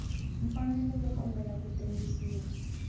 mfanelo yo kombela ku tengisiwa